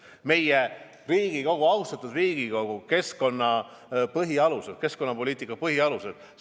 Meie Riigikogu, austatud Riigikogu võttis vastu kliimapoliitika põhialused.